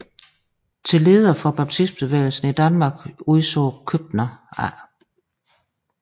Til leder for baptistbevægelsen i Danmark udså Købner A